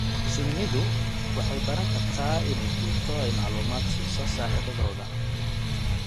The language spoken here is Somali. Shinnidu waxay baran kartaa inay gurato oo ay macluumaad siiso saaxiibadooda.